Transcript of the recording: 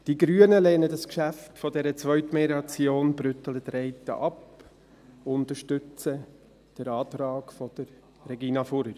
Die Grüne lehnen das Geschäft dieser Zweitmelioration BrüttelenTreiten ab und unterstützen den Antrag von Regina Fuhrer.